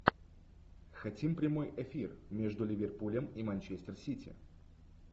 хотим прямой эфир между ливерпулем и манчестер сити